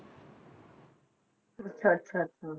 ਅੱਛਾ ਅੱਛਾ ਅੱਛਾ